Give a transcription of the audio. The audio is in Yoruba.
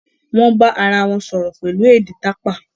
won bá arawọn sọrọ pẹlu èdè tapa.